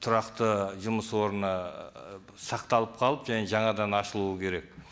тұрақты жұмыс орны сақталып қалып және жаңадан ашылуы керек